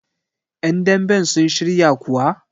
yandamben sun shiryakuwa?